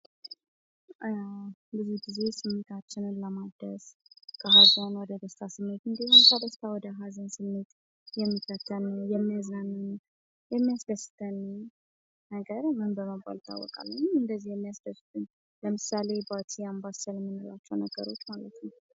ብዙ ጊዜ ስሜታችንን ለማደስ ፣ ከሀዘን ወደ ደስታ ስሜት ሲሆን ከደስታ ወደ ሀዘን ስሜት የሚከተን ፣የሚያዝናናን ፣የሚያስደስትን ነገር ምን በመባል ይታወቃል ? ወይም እንደዚህ የሚያስደስቱን ለምሳሌ ባቲ ፣ አምባሰን የምንላቸው ነገሮች ማለት ነው ።